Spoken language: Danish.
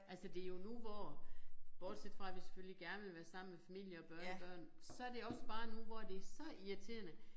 Altså det jo nu hvor bortset fra at vi selvfølgelig gerne vil være sammen med familie og børnebørn så det også bare nu hvor det så irriterende